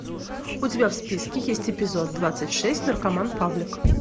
у тебя в списке есть эпизод двадцать шесть наркоман павлик